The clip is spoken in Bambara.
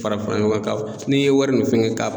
Fara fara ɲɔgɔn kan ka n'i ye wari nin fɛngɛ k'a